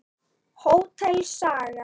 Hótel Saga.